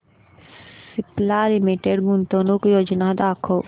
Cipla limited गुंतवणूक योजना दाखव